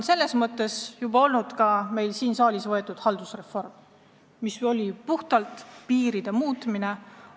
Selles mõttes formaalsus on olnud ka siin saalis heaks kiidetud haldusreform, mis seisnes piiride muutmises.